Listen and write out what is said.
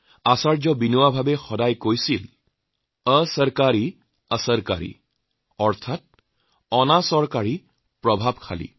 আচাৰ্য বিনোৱা ভাবে প্ৰায়েই কৈছিলবেচৰকাৰী অচৰকাৰী